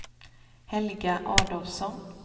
Helga Adolfsson